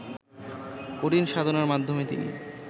কঠিন সাধনার মাধ্যমে তিনি